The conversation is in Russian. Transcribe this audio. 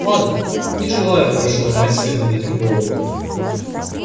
ладно не желаю больше ломать себе над этим голову